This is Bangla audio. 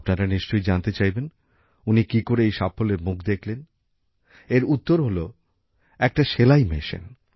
আপনারা নিশ্চয়ই জানতে চাইবেন উনি কি করে এই সাফল্যের মুখ দেখলেন এর উত্তর হল একটা সেলাই মেশিন